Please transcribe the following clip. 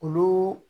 Olu